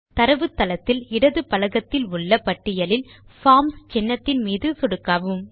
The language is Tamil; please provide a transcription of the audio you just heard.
தரவுத்தளத்தில் இடது பலகத்தில் உள்ள பட்டியலில் பார்ம்ஸ் சின்னத்தின் மீது சொடுக்கவும்